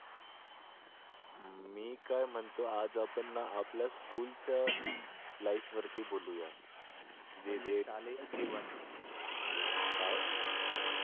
मी काय म्हणतो आज आपण आपल्या school च्या life वरती बोलूया काय